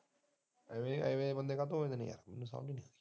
ਐਵੇ ਦੇ ਬੰਦੇ ਕਾਹਤੋਂ ਹੁੰਦੇ ਐ ਮੈਨੂੰ ਸਮਜ ਨੀ ਲੱਗਦੀ